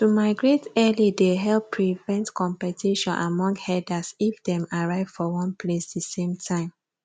to migrate early dey help prevent competition among herders if them arrive for one place the same time